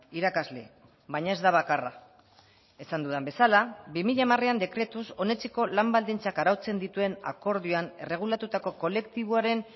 irakasle baina ez da bakarra esan dudan bezala bi mila hamarean dekretuz onetsiko lan baldintzak arautzen dituen akordioan erregulatutako kolektiboaren